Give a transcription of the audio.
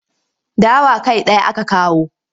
Dawa kai ɗaya aka kawo.